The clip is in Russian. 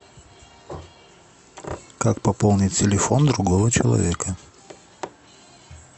как пополнить телефон другого человека